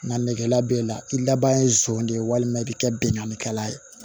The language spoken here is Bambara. Nka negela b'e la i laban ye zon de ye walima i bi kɛ binnkannikɛla ye